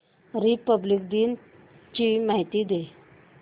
Republic दिन ची माहिती दे